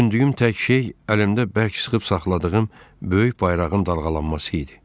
Düşündüyüm tək şey əlimdə bərk sıxıb saxladığım böyük bayrağın dalğalanması idi.